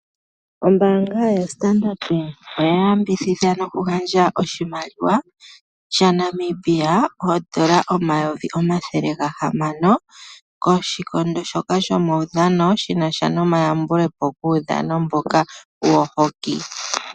Ombaanga yaStandard Bank oya yambidhidha nokugandja oshimaliwa shaNamibia oondola omayovi omathele gahamano koshikondo shoka shomaudhano shinasha nomayambule po guudhano mboka wo hoki.